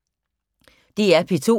DR P2